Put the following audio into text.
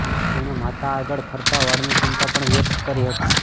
તેણે માતા આગળ ખરતા વાળની ચિંતા પણ વ્યક્ત કરી હતી